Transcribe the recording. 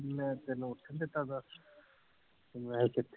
ਮੈਂ ਤੈਨੂੰ ਉੱਠਣ ਦਿੱਤਾ ਦਸ ਮੈਂ ਤੈਨੂੰ